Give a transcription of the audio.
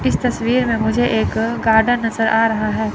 इस तस्वीर में मुझे एक गार्डन नजर आ रहा है।